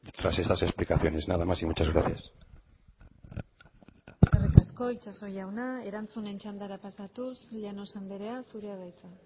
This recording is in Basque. tras estas explicaciones nada más y muchas gracias eskerrik asko itxaso jauna erantzunen txandara pasatuz llanos anderea zurea da hitza